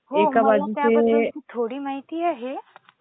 म्हणजे मला त्याबद्दल थोडी माहिती आहे.